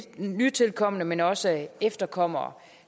nytilkomne men også efterkommere